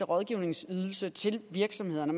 rådgivningsydelse til virksomhederne